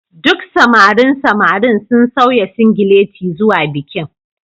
Duk samarin samarin sun sanya singileti zuwa bikin